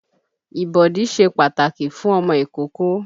Ìbọ̀dí ṣe pàtàkì fún ọmọ ìkókó